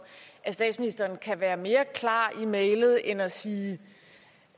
at statsministeren kan være mere klar i mælet end at sige